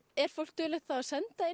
er fólk duglegt að senda inn